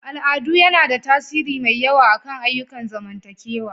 Al'adu yana da tasiri mai yawa akan ayyukan zamantakewa.